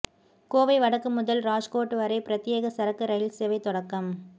கோவை வடக்கு முதல் ராஜ்கோட் வரை பிரத்யேக சரக்கு ரயில் சேவை தொடக்கம்